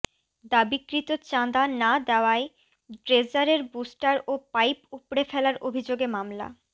দাবিকৃত চাঁদা না দেয়ায় ড্রেজারের বুস্টার ও পাইপ উপড়ে ফেলার অভিযোগে মামলা